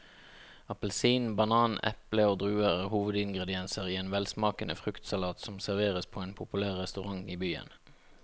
Appelsin, banan, eple og druer er hovedingredienser i en velsmakende fruktsalat som serveres på en populær restaurant i byen.